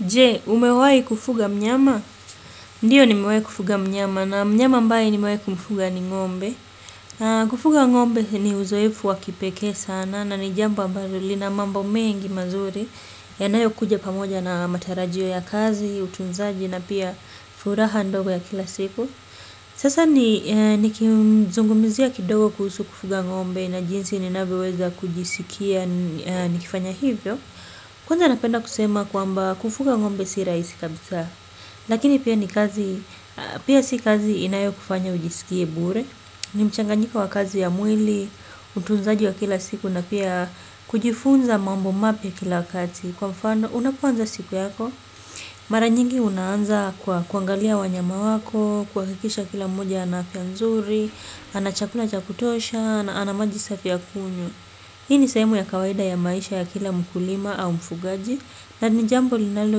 Je, umewai kufuga mnyama? Ndiyo nimewai kufuga mnyama na mnyama ambae nimewai kufuga ni ngombe. Kufuga ngombe ni uzoifu wakipeke sana na ni jambo ambalo lina mambo mengi mazuri yanayo kuja pamoja na matarajio ya kazi, utunzaji na pia furaha ndogo ya kila siku. Sasa ni kizungumizia kidogo kuhusu kufuga ngombe na jinsi ninavyoweza kujisikia nikifanya hivyo. Kwanza napenda kusema kwamba kufuga ngombe si raisi kabisa, lakini pia ni kazi, pia si kazi inayo kufanya ujisikie bure, ni mchanganjiko wa kazi ya mwili, utunzaji wa kila siku na pia kujifunza mambo mapya kila kati. Kwa mfano, unapoanza siku yako, mara nyingi unaanza kuangalia wanyama wako, kuakikisha kila mmoja ana afya nzuri, ana chakula cha kutosha, ana maji safi ya kunywa. Hii ni sehemu ya kawaida ya maisha ya kila mkulima au mfugaji, na ni jambo linalo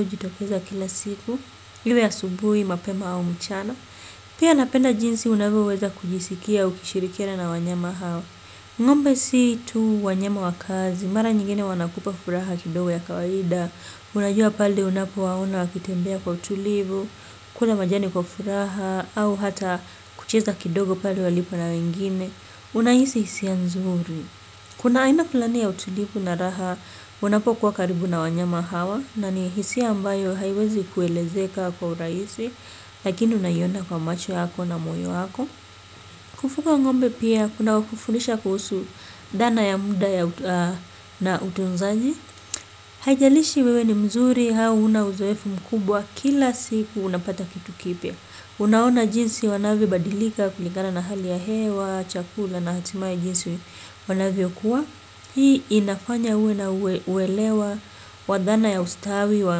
ujitokeza kila siku, liwe asubui, mapema au mchana. Pia napenda jinsi unavyoweza kujisikia ukishirikiana na wanyama hawa. Ngombe si tu wanyama wa kazi, mara nyingine wanakupa furaha kidogo ya kawaida, unajua pale unapowaona wakitembea kwa utulivu, kula majani kwa furaha, au hata kucheza kidogo pale walipo na wengine, unahisi hisia nzuri. Kuna aina kulani ya utulifu na raha unapokuwa karibu na wanyama hawa na ni hisia ambayo haiwezi kuelezeka kwa urahisi lakini unaiona kwa macho hako na moyo wako. Kufuga ngombe pia kuna kufundisha kuhusu dana ya muda na utunzaji. Haijalishi wewe ni mzuri hauna uzoefu mkubwa kila siku unapata kitu kipya. Unaona jinsi wanavyo badilika kulikana na hali ya hewa, chakula na hatimaye jinsi wanavyo kuwa hii inafanya uwe na uwelewa wa dhana ya ustawi wa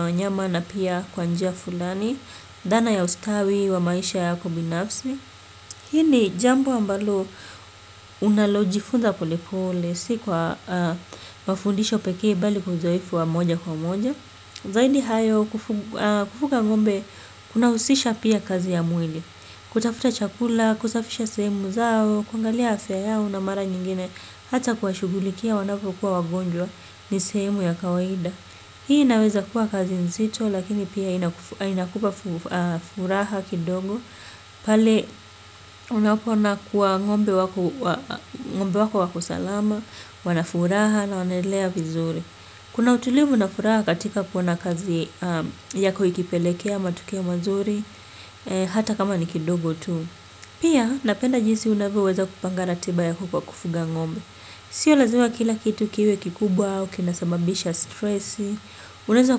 wanyama na pia kwa njia fulani dana ya ustawi wa maisha yako binafsi. Hii ni jambo ambalo unalojifunza pole pole si kwa mafundisho pekee bali kwa uzoefu wa moja kwa moja. Zaidi hayo kufuga ngombe kuna usisha pia kazi ya mwili. Kutafuta chakula, kusafisha sehemu zao, kuangalia afya yao na mara nyingine. Hata kuwashugulikia wanavyo kuwa wagonjwa ni sehemu ya kawaida. Hii inaweza kuwa kazi nzito lakini pia inakupa furaha kidongo. Pale unapo ona kuwa ngombe wako wako salama, wanafuraha na wanaelea vizuri. Kuna utulivu na furaha katika kuona kazi yako ikipelekea, matokeo mazuri, hata kama ni kidogo tu. Pia napenda jinsi unavyoweza kupanga ratiba yako kwa kufuga ngombe. Sio lazima kila kitu kiwe kikubwa, au kinasamabisha stressi, unaeza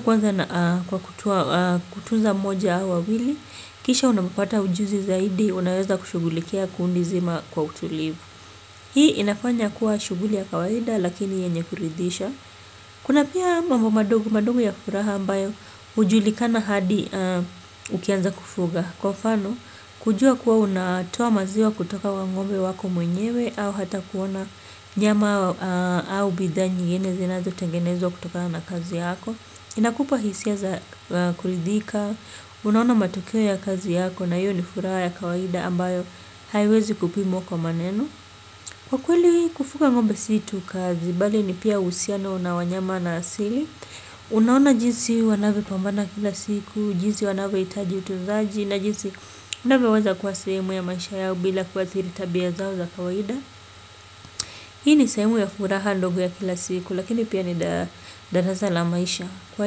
kwanza kutunza moja hao wawili, kisha unapopata ujuzi zaidi, unaweza kushugulikia kundi zima kwa utulivu. Hii inafanya kuwa shuguli ya kawaida lakini yenye kuridisha. Kuna pia mambo madogo madogo ya furaha ambayo ujulikana hadi ukianza kufuga. Kwa mfano, kujua kuwa unatoa maziwa kutoka lwa ngombe wako mwenyewe au hata kuona nyama au bidhaa nyingine zinazo tengenezwa kutokana na kazi yako. Inakupa hisia za kuridhika, unaona matokeo ya kazi yako na hiyo ni furaha ya kawaida ambayo haiwezi kupimwa kwa maneno. Kwa kweli kufuga ngombe si tu kazi, bali ni pia uhusiano na wanyama na asili. Unaona jinsi wanavyo pambana kila siku, jinsi wanavuo itaji utunzaji na jinsi unavyo weza kuwa sehemu ya maisha yao bila kuathiri tabia zao za kawaida. Hii ni sehemu ya furaha ndogo ya kila siku, lakini pia ni darasa la maisha. Kwa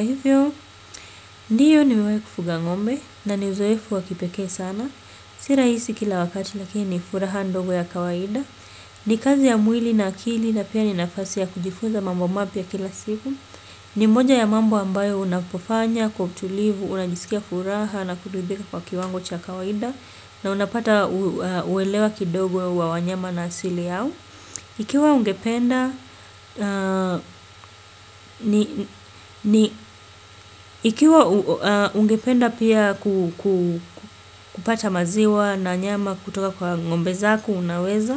hivyo, ndiyo nimewai kufuga ngombe na ni uzoefu wakipeke sana. Si rahisi kila wakati lakini ni furaha ndogo ya kawaida. Ni kazi ya mwili na akili na pia ni nafasi ya kujifuza mambo mapya kila siku. Ni mmoja ya mambo ambayo unapofanya, kwa utulivu, unajisikia furaha na kuridhika kwa kiwango cha kawaida. Na unapata uwelewa kidogo wa wanyama na asili yao. Ikiwa ungependa pia kupata maziwa na nyama kutoka kwa ngombe zako unaweza.